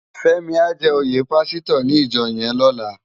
Femi á jè óyé pàsítò ni ijò yèn lòlá